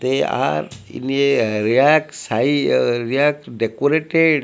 they are in a decorated.